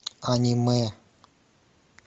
аниме